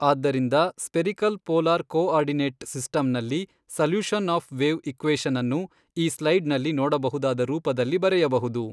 ಆದ್ದರಿಂದ spherical polar coordinate ಸಿಸ್ಟಮ್ನಲ್ಲಿ solution of wave ಈಕ್ವೇಶನನ್ನು ಈ ಸ್ಲೈಡ್ ನಲ್ಲಿ ನೋಡಬಹುದಾದ ರೂಪದಲ್ಲಿ ಬರೆಯಬಹುದು.